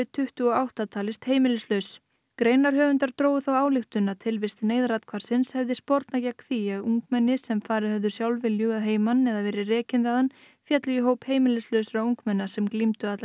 tuttugu og átta talist heimilislaus greinarhöfundar drógu þá ályktun að tilvist neyðarathvarfsins hefði spornað gegn því að ungmenni sem farið höfðu sjálfviljug að heiman eða verið rekin þaðan féllu í hóp heimilislausra ungmenna sem glímdu alla